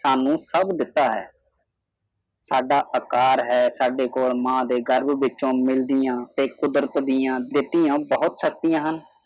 ਸਾਨੂੰ ਸਭ ਦਿੱਤਾ ਹੈ ਸਾਡਾ ਆਕਾਰ ਹੈ ਸਾਡੇ ਕੋਲ ਮਾਂ ਦੇ ਗਰਭ ਵਿਚੋਂ ਮਿਲਣੀਆਂ ਤੇ ਕੁਦਰਤ ਦੀਆਂ ਦਿੱਤੀਆਂ ਬਹੁਤ ਸ਼ਕਤੀਆਂ ਹਨ।